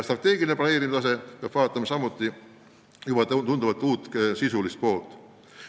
Strateegilise planeerimise korral aga peab tunduvalt rohkem arvestama just uut sisulist poolt.